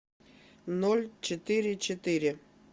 ноль четыре четыре